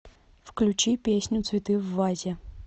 включи песню цветы в вазе